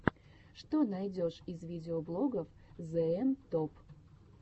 что найдешь из видеоблогов зээм топ